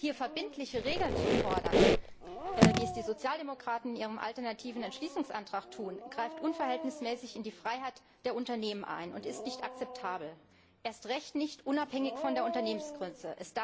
Hier verbindliche Regeln zu fordern, wie es die Sozialdemokraten in ihrem alternativen Entschließungsantrag tun, greift unverhältnismäßig in die Freiheit der Unternehmen ein und ist nicht akzeptabel, erst recht nicht unabhängig von der Unternehmensgröße.